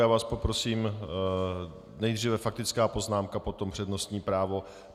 Já vás poprosím - nejdříve faktická poznámka, potom přednostní právo.